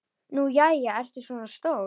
Nú jæja, ertu svona stór.